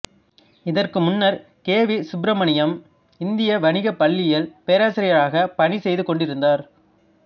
இதற்கு முன்னர் K V Subramaniam இந்திய வணிகப் பள்ளியில் பேராசிரியராக பணிசெய்து கொண்டிருந்தார்